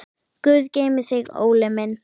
Guð geymi þig, Óli minn.